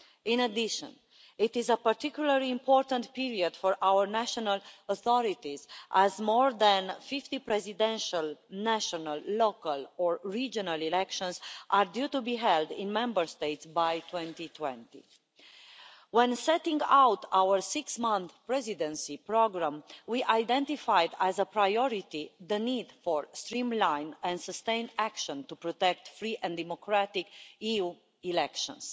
In addition, it is a particularly important period for our national authorities, as more than fifty presidential, national, local or regional elections are due to be held in Member States by 2020. When setting out our six month Presidency programme, we identified as a priority the need for streamlined and sustained action to protect free and democratic EU elections.